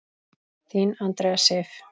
Þín Andrea Sif.